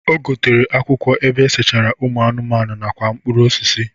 O gotere akwụkwọ ebe esechara ụmụ anụmanụ nakwa mpụrụ osisi.